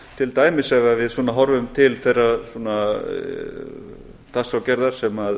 til dæmis ef við horfum til þeirrar dagskrárgerðar sem